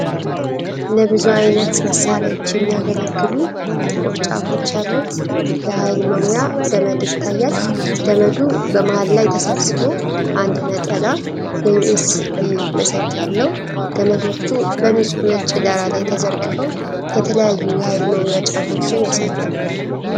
ለብዙ ዓይነት መሣሪያዎች የሚያገለግሉ ጥቁር ጫፎች ያሉት የኃይል መሙያ ገመድ ይታያል። ገመዱ በመሃል ላይ ተሰብስቦ አንድ ነጠላ የዩኤስቢ መሰኪያ አለው። ገመዶቹ በንጹሕ ነጭ ዳራ ላይ ተዘርግፈው የተለያዩ የኃይል መሙያ ጫፎችን ያሳያሉ።